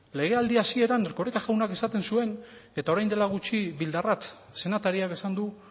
legealdi hasieran erkoreka jaunak esaten zuen eta orain dela gutxi bildarratz senatariak esan du